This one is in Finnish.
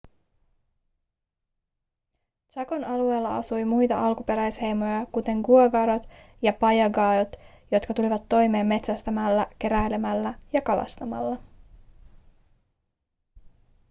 chacon alueella asui muita alkuperäisheimoja kuten guaycurút ja payaguát jotka tulivat toimeen metsästämällä keräilemällä ja kalastamalla